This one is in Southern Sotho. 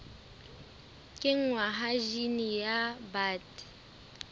kenngwa ha jine ya bt